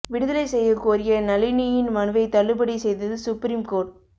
விடுதலை செய்யக் கோரிய நளினியின் மனுவை தள்ளுபடி செய்தது சுப்ரீம் கோர்ட்